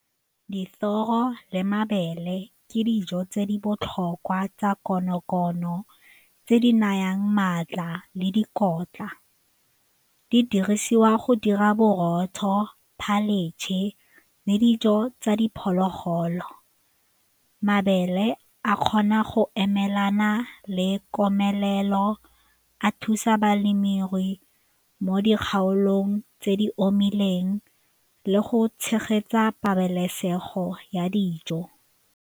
Dithoro le mabele ke dijo tse di botlhokwa tsa konokono tse di nayang maatla le dikotla, di dirisiwa go dira borotho, le dijo tsa diphologolo. Mabele a kgona go emelana le komelelo, a thusa balemirui mo dikgaolong tse di omileng le go tshegetsa pabalesego ya dijo.